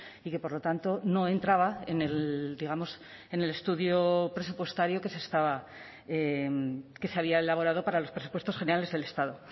y que por lo tanto no entraba en el digamos en el estudio presupuestario que se estaba que se había elaborado para los presupuestos generales del estado